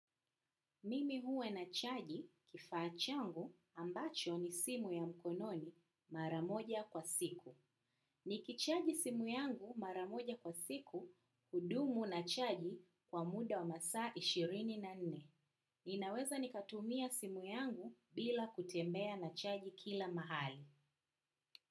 Mimi huwa nachaji kifaa changu ambacho ni simu ya mkononi mara moja kwa siku. Ni kichaji simu yangu mara moja kwa siku hudumu na chaji kwa muda wa masaa ishirini na nne. Ninaweza nikatumia simu yangu bila kutembea na chaji kila mahali.